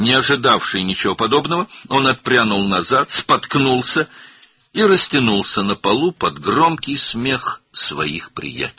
Belə bir şey gözləməyən o, geriyə sıçradı, büdrədi və dostlarının ucadan gülməsi altında yerə uzandı.